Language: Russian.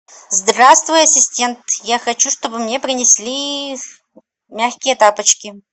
здравствуй ассистент я хочу чтобы мне принесли мягкие тапочки